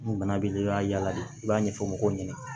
Ni bana b'i la i b'a yaala de i b'a ɲɛfɔ mɔgɔw ɲɛna